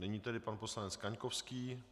Nyní tedy pan poslanec Kaňkovský.